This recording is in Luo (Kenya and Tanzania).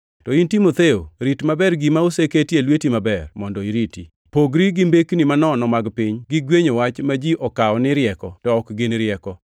To in Timotheo, rit maber gima oseketi e lweti maber mondo iriti. Pogri gi mbekni manono mag piny gi gwenyo wach ma ji okawo ni rieko to ok gin rieko.